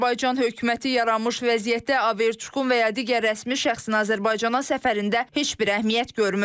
Azərbaycan hökuməti yaranmış vəziyyətdə Averçukun və ya digər rəsmi şəxsin Azərbaycana səfərində heç bir əhəmiyyət görmür.